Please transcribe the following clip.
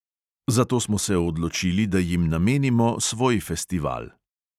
Zato smo se odločili, da jim namenimo svoj festival.